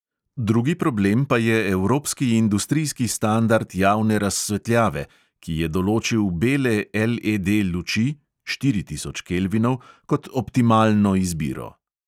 Drugi problem pa je evropski industrijski standard javne razsvetljave, ki je določil bele LED luči (štiri tisoč kelvinov) kot optimalno izbiro.